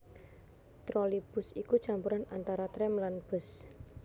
Trolleybus iku campuran antara trèm lan bus